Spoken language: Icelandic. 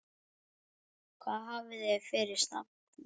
Hvað hafið þið fyrir stafni?